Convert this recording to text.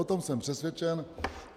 O tom jsem přesvědčen.